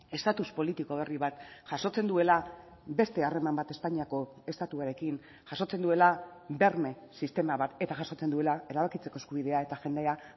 estatus politiko berri bat jasotzen duela beste harreman bat espainiako estatuarekin jasotzen duela berme sistema bat eta jasotzen duela erabakitzeko eskubidea eta jendea